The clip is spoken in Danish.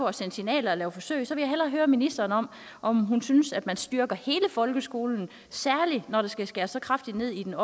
at sende signaler og lave forsøg vil jeg hellere høre ministeren om om hun synes at man styrker hele folkeskolen særlig når der skal skæres så kraftigt ned i det